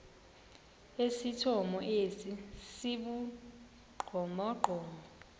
esithomo esi sibugqomogqomo